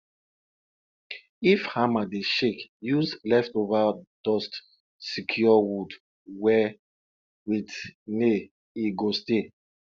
if hammer dey shake use leftover dust secure wood well with nail e go stay